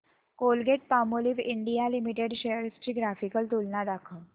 Colgate Palmolive India limited shares ची graphical तुलना दाखव